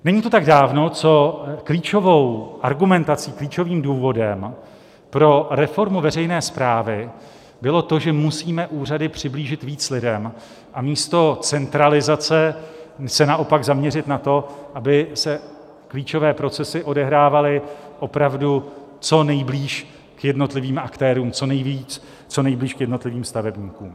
Není to tak dávno, co klíčovou argumentací, klíčovým důvodem pro reformu veřejné správy bylo to, že musíme úřady přiblížit víc lidem, a místo centralizace se naopak zaměřit na to, aby se klíčové procesy odehrávaly opravdu co nejblíž k jednotlivým aktérům, co nejblíž k jednotlivým stavebníkům.